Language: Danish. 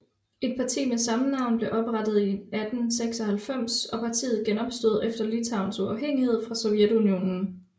Et parti med samme navn blev oprettet i 1896 og partiet genopstod efter Litauens uafhængighed fra Sovjetunionen